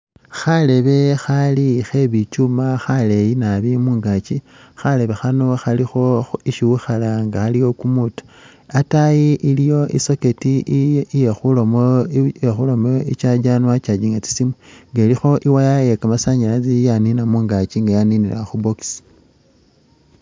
Kharebe khali khe bicyuuma khaleeyi nabi mungaaki, khalebe khano khalikho isi wikhala nga aliwo kumuuto. Ataayi iliwo i'socket iye khuramo iye khuramo i'charger niwo wa charginga tsi siimu nga ilikho i'wire ye kamasanyalazi yanina mungaki nga yaninila khu box